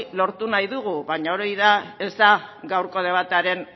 lortu nahi dugu baina hori ez da gaurko debatearen